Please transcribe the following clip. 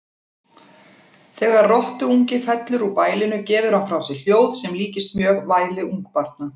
Þegar rottuungi fellur úr bælinu gefur hann frá sér hljóð sem líkist mjög væli ungbarna.